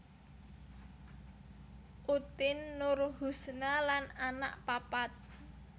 Utin Nurhusna lan anak papat